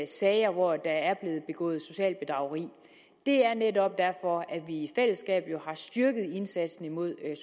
sager hvor der er blevet begået socialt bedrageri det er netop derfor at vi i fællesskab har styrket indsatsen imod